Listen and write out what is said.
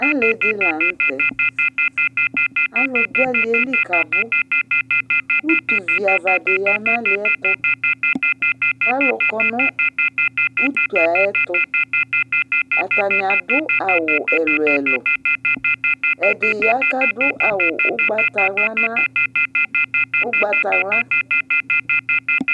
Alɩ dila nʊtɛ Alʊ dʊ alielɩ kuabʊ Ʊtʊ viava di ya nalɩɛtʊ, kalʊ kɔ nʊtʊ yɛ ayɛtʊ Atani adʊ awʊ ɛlʊɛlʊ Ɛdɩ ya kadʊ awʊ ʊgbatawla